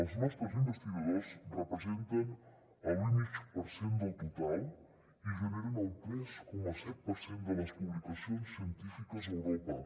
els nostres investigadors representen l’un coma cinc per cent del total i generen el tres coma set per cent de les publicacions científiques a europa